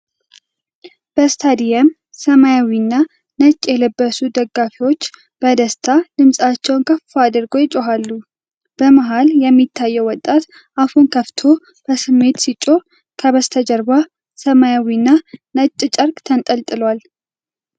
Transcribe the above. በስታዲየም ሰማያዊና ነጭ የለበሱ ደጋፊዎች በደስታ ድምፃቸውን ከፍ አድርገው ይጮሃሉ። በመሃል የሚታየው ወጣት አፉን ከፍቶ በስሜት ሲጮህ፣ ከበስተጀርባ ሰማያዊና ነጭ ጨርቅ ተንጠልጥሏል።